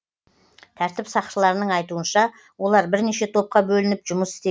тәртіп сақшыларының айтуынша олар бірнеше топқа бөлініп жұмыс істеген